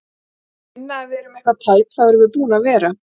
Ef þeir finna að við erum eitthvað tæp þá erum við búin að vera!